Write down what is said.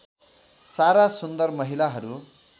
सारा सुन्दर महिलाहरू